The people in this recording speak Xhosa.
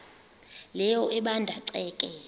leyo ebanda ceke